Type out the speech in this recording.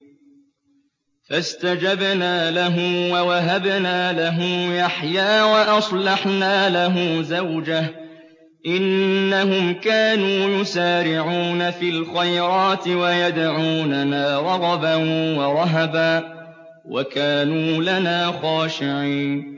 فَاسْتَجَبْنَا لَهُ وَوَهَبْنَا لَهُ يَحْيَىٰ وَأَصْلَحْنَا لَهُ زَوْجَهُ ۚ إِنَّهُمْ كَانُوا يُسَارِعُونَ فِي الْخَيْرَاتِ وَيَدْعُونَنَا رَغَبًا وَرَهَبًا ۖ وَكَانُوا لَنَا خَاشِعِينَ